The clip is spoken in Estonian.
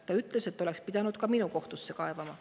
Ta ütles, et oleks pidanud ka minu kohtusse kaebama.